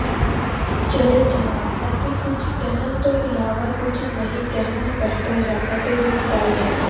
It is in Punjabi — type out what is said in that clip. ਚਲੇ ਜਾਣਾ ਅਤੇ ਕੁੱਝ ਕਹਿਣ ਤੋਂ ਇਲਾਵਾ ਕੁੱਝ ਨਹੀਂ ਕਹਿਣਾ ਬਿਹਤਰ ਹੈ ਅਤੇ ਦੁਖਦਾਈ ਹੈ